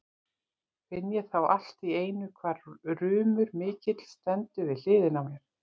Finn ég þá allt í einu hvar rumur mikill stendur við hliðina á mér.